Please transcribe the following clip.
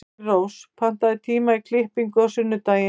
Engilrós, pantaðu tíma í klippingu á sunnudaginn.